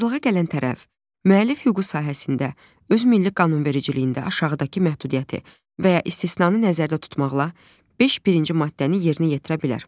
Razılığa gələn tərəf müəllif hüququ sahəsində öz milli qanunvericiliyində aşağıdakı məhdudiyyəti və ya istisnanı nəzərdə tutmaqla beş birinci maddəni yerinə yetirə bilər.